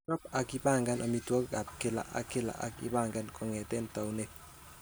Chob ak ipang'an amitwogik ab kila ak kila ak ibaen kong'eten taunet.